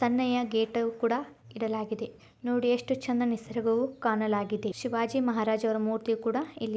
ತನಯ್ಯಾ gate ಕೂಡ ಇಡಲಾಗಿದೇ-- ನೋಡಿ ಎಷ್ಟು ಚಂದ ನಿಸರ್ಗವು ಕಾಣಲಾಗಿದೇ ಶಿವಾಜಿ ಮಹಾರಾಜ್ರ ಮೂರ್ತಿ ಕೂಡಾ--